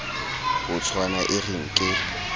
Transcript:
ho tshwana e re nke